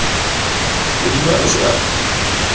hodima a se a re